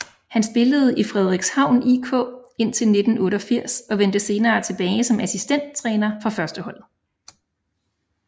Han spillede i Frederikshavn IK indtil 1988 og vendte senere tilbage som assistenttræner for førsteholdet